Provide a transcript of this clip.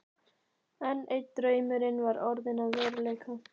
Enn einn draumurinn var orðinn að veruleika.